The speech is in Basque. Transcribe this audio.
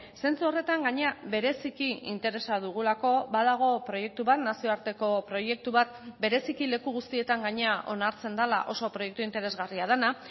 zentzu horretan gainera bereziki interesa dugulako badago proiektu bat nazioarteko proiektu bat bereziki leku guztietan gainera onartzen dela oso proiektu interesgarria dena